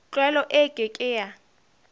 tlwaelo e ke ke ya